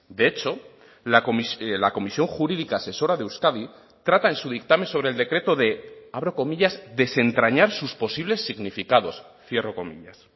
de hecho la comisión jurídica asesora de euskadi trata en su dictamen sobre el decreto de abro comillas desentrañar sus posibles significados cierro comillas